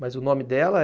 Mas o nome dela